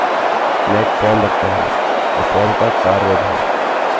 मैं एक फॉर्म रखता हूँ और फॉर्म का कार्य भी